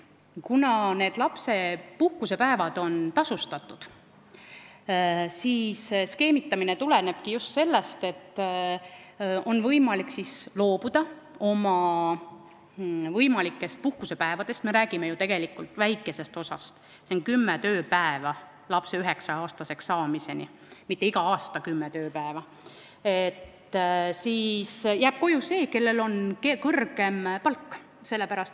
Kuna need lapsepuhkusepäevad on tasustatud, siis skeemitamine tuleneb just sellest, et on võimalik loobuda oma võimalikest puhkusepäevadest – me räägime ju tegelikult väikesest arvust, kümnest tööpäevast lapse üheksa-aastaseks saamiseni, mitte iga aasta kümnest tööpäevast –, ja koju jääb see, kellel on kõrgem palk.